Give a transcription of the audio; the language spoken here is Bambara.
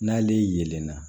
N'ale yelenna